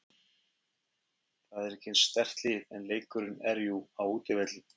Það er ekki eins sterkt lið en leikurinn er jú á útivelli.